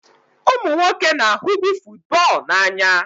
Ụmụ nwoke na-ahụbu football n'anya.